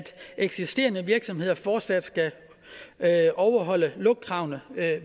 eksisterende virksomheder fortsat skal overholde lugtkravene